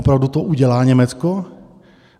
Opravdu to udělá Německo?